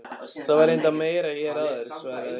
Það var reyndar meira hér áður- svaraði Urður.